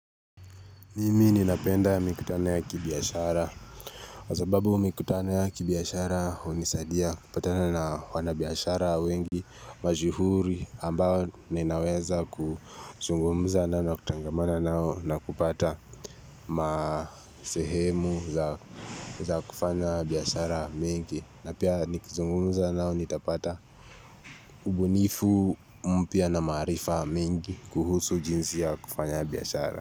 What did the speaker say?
Mimi ninapenda mikutano ya kibiashara Kwa sababu mikutano ya kibiashara unisadia kupatana na wanabiashara wengi majihuri ambao ninaweza kuzungumuza na na kutangamana nao na kupata masehemu za kufanya biashara mingi. Na pia nikuzungumuza nao nitapata ubunifu mpya na maarifa mengi kuhusu jinsi ya kufanya biashara.